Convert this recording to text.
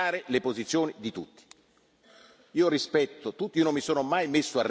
io credo che voi abbiate il dovere di rispettare le posizioni di tutti.